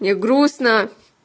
мне грустно